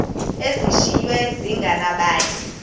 zishiywe zinge nabani